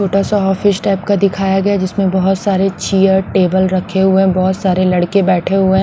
छोटा सा office type का दिखाया गया जिसमें बहुत सारे चेयर टेबल रखे हुए हैंबहुत सारे लड़के बैठे हुए हैं।